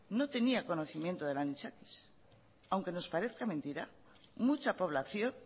no tenía conocimiento del anisakis aunque nos parezca mentira mucha población